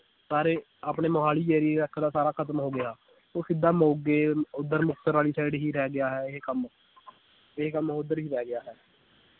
ਸਾਰੇ ਆਪਣੇ ਮੋਹਾਲੀ ਦਾ ਸਾਰਾ ਖਤਮ ਹੋ ਗਿਆ ਉਹ ਸਿੱਧਾ ਮੋਗੇ ਓਧਰ ਵਾਲੀ side ਹੀ ਰਹਿ ਗਿਆ ਹੈ ਇਹ ਕੰਮ ਇਹ ਕੰਮ ਓਧਰ ਹੀ ਰਹਿ ਗਿਆ ਹੈ।